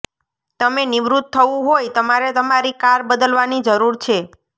તમે નિવૃત્ત થવું હોય તમારે તમારી કાર બદલવાની જરૂર છે